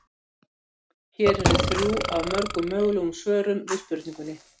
Náttúruleg fjölgun er munurinn á fjölda fæðinga og fjölda andláta innan ríkja.